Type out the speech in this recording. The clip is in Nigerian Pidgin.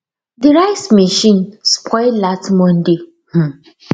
the rice machine spoil last monday um